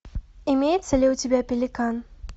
имеется ли у тебя пеликан